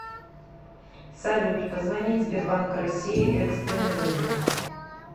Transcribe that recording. салют позвонить сбербанк россии экстренный вызов